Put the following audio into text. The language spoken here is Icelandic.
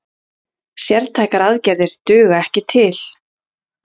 Sértækar aðgerðir duga ekki til